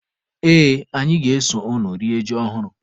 Ee, anyị ga-eso unu rie ji ọhụrụ.